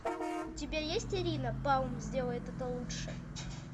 у тебя есть ирина палм сделает это лучше